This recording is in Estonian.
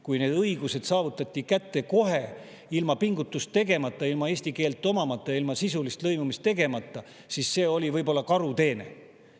Kuna need õigused saadi kätte kohe, ilma pingutust tegemata, ilma eesti keelt omandamata, ilma sisuliselt lõimumata, siis see oli võib-olla karuteene.